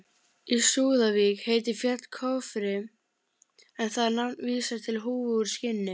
Í Súðavík heitir fjall Kofri en það nafn vísar til húfu úr skinni.